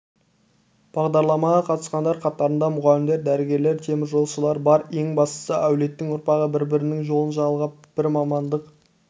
бағдарламаға қатысқандар қатарында мұғалімдер дәрігерлер теміржолшылар бар ең бастысы әулеттің ұрпағы бір-бірінің жолын жалғап бір мамандық